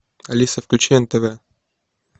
алиса включи нтв